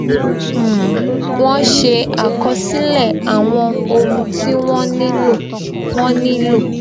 um wón ṣe àkọsílè àwọn ohun tí wón nílò wón nílò